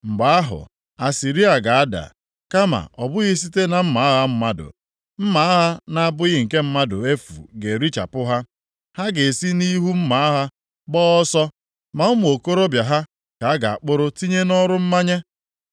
“Mgbe ahụ, Asịrịa ga-ada, kama ọ bụghị site na mma agha mmadụ, mma agha na-abụghị nke mmadụ efu ga-erichapụ ha. Ha ga-esi nʼihu mma agha gbaa ọsọ, ma ụmụ okorobịa ha ka a ga-akpụrụ tinye nʼọrụ mmanye.